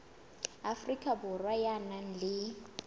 afrika borwa ya nang le